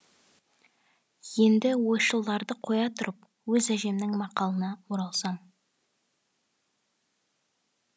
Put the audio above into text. енді ойшылдарды қоя тұрып өз әжемнің мақалына оралсам